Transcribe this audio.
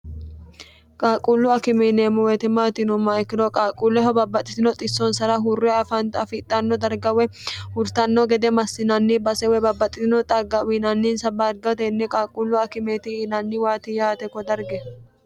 qaaquullu akimeeneemmo woyte maati yinummoha ikkiro qaaqquulleho babbaxxitino xissonsara hurre afani afixhanno dargawe hurtanno gede massinanni basewe babbaxxitino xagga uyinannisawa darga tenne qaaquullu akimeeti yiinanni waati yaate ko darge